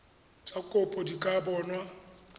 tsa kopo di ka bonwa